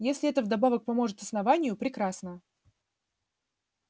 если это вдобавок поможет основанию прекрасно